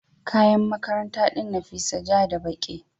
kayan makaranta din Nafisat ja da ɓaki.